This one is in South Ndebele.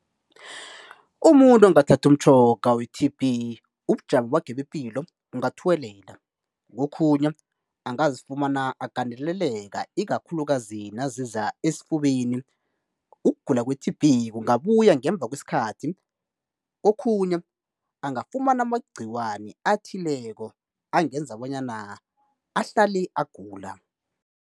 Umuntu ongathathi umtjhoga we-T_B ubujamo bakhe bepilo bungathuwelela, kokhunye angazifumana agandeleleka ikakhulukazi naziza esifubeni. Ukugula kwe-T_B kungabuya ngemva kwesikhathi kokhunye angafumana amagciwani athileko angenza bonyana ahlale agula.